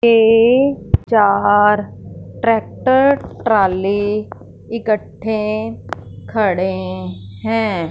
ये चार tractor trolley इकट्ठे खड़े हैं।